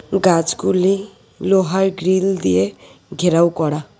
গাছগুলি লোহার গ্রিল দিয়ে ঘেরাও করা।